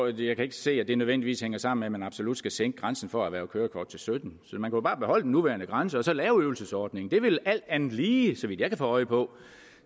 jeg kan ikke se at det nødvendigvis hænger sammen med at man absolut skal sænke grænsen for at erhverve kørekort til syttende man kunne bare beholde den nuværende grænse og så lave en øvelsesordning det ville alt andet lige så vidt jeg kan få øje på